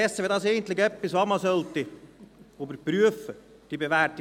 Darum ist diese bewährte Praxis etwas, das man eigentlich einmal überprüfen sollte.